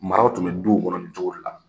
Maraw tun bɛ duw kɔnɔ nin cogo de la.